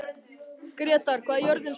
Grétar, hvað er jörðin stór?